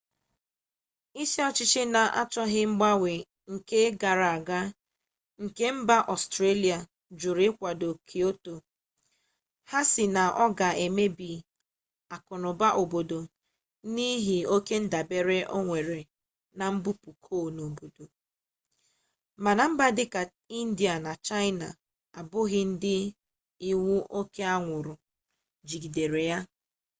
isi ọchịchị na-achọghị mgbanwe nke gara aga nke mba ọstrelia jụrụ ịkwado kyoto ha sị na ọ ga emebi akụnụba obodo n'ihi oke ndabere o nwere na mbupu coal n'obodo mana mba dịka india na chaịna abụghị ndị iwu oke anwụrụ jigidere